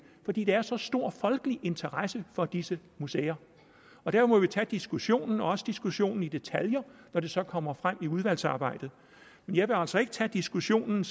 fordi der er så stor folkelig interesse for disse museer der må vi tage diskussionen også diskussionen i detaljer når det så kommer frem i udvalgsarbejdet men jeg vil altså ikke tage diskussionen